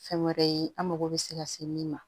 Fɛn wɛrɛ ye an mago bɛ se ka se min ma